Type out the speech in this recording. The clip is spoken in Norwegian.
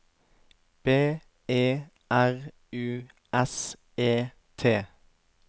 B E R U S E T